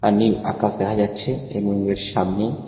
নীল আকাশ দেখা যাচ্ছে এবং এর সামনে--